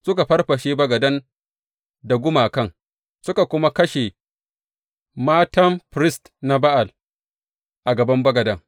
Suka farfashe bagadan da gumakan, suka kuma kashe Mattan firist na Ba’al a gaban bagadan.